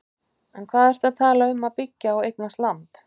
En hvað ertu að tala um að byggja og eignast land?